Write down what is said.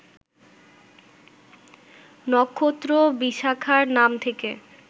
নক্ষত্র বিশাখার নাম থেকে